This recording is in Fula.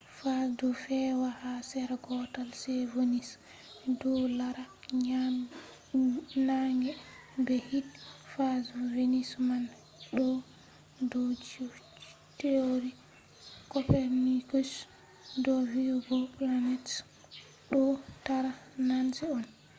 phases ɗo fe’a ha sera gotel je venus ko je leuru ɗo lara nange be hiite. phases venus man ɗo do theory copernicus do vi’ugo planets ɗo tara nange on